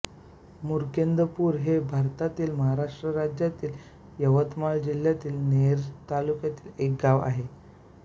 मुकींदपूर हे भारतातील महाराष्ट्र राज्यातील यवतमाळ जिल्ह्यातील नेर तालुक्यातील एक गाव आहे